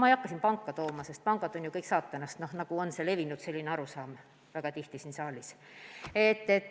Ma ei hakka siin viitama pankadele, pangad on ju levinud arusaama kohaselt kõik saatanast, nagu väga tihti siin saalis kõlab.